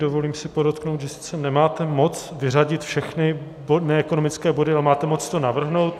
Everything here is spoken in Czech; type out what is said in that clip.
Dovolím si podotknout, že sice nemáte moc vyřadit všechny ekonomické body, ale máte moc to navrhnout.